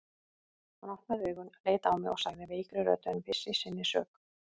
Hann opnaði augun, leit á mig og sagði veikri röddu en viss í sinni sök